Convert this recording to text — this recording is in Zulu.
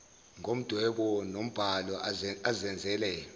ngomdwebo nombhalo azenzele